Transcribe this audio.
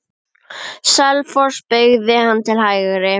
Selfoss beygði hann til hægri.